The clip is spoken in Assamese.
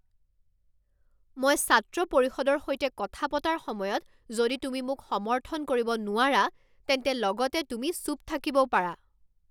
মই ছাত্ৰ পৰিষদৰ সৈতে কথা পতাৰ সময়ত যদি তুমি মোক সমৰ্থন কৰিব নোৱাৰা, তেন্তে লগতে তুমি চুপ থাকিবও পাৰা।